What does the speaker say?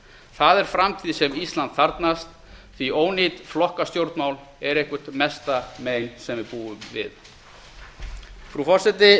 það er framtíð sem ísland þarfnast því ónýt flokkastjórnmál er eitthvert mesta mein sem við búum við frú forseti